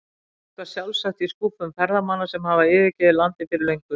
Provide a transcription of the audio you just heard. Eitthvað sjálfsagt í skúffum ferðamanna sem hafa yfirgefið landið fyrir löngu.